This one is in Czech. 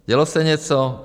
Dělo se něco?